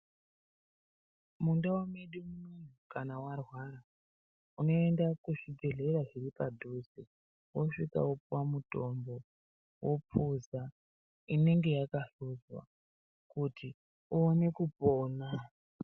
Mundau medu kana warwara ,unoenda kuzvibhedhlera zviri padhuze ,wosvika wopuwa mutombo, wophuza, inenge yakahluzwa, kuti uone kupona.